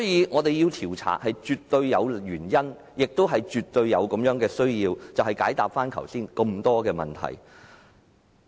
我們絕對有原因、絕對有需要展開調查，以解答剛才提及的種種問題。